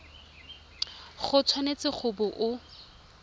o tshwanetse go bo o